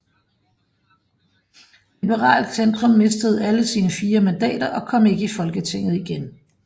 Liberalt Centrum mistede alle sine fire mandater og kom ikke i Folketinget igen